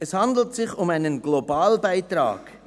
Es handelt sich um einen Globalbeitrag;